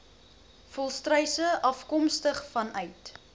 volstruise afkomstig vanuit